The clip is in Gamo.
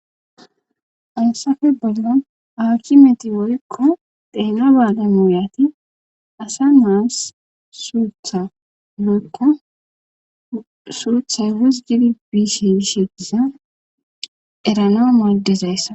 Assafe bolla awki meti woykko deena baale muuyati asa naas suthanaakka suuthay wusgidi biishe ishediza erana moodezayssa.